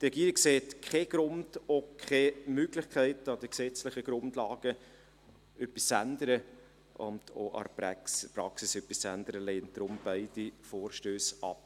Die Regierung sieht keinen Grund und auch keine Möglichkeit, an den gesetzlichen Grundlagen und an der Praxis etwas zu ändern, und lehnt daher beide Vorstösse ab.